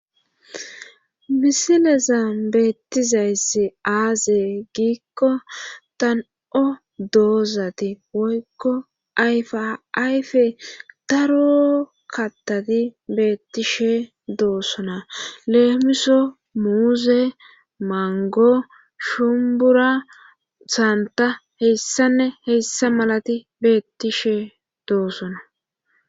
Bisileza beettizayssi aaze giikko tan7o doozati woykko ayfa ayfe daro kattati beettishe doosona leemiso muuse mango shumbura saanta heyssanne heyssa malati beetti she doossona.